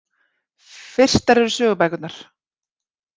Fyrstar eru sögubækurnar.